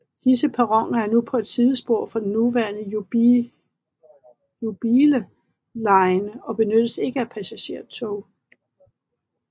Disse perroner er nu på et sidespor fra den nuværende Jubilee line og benyttes ikke af passagertog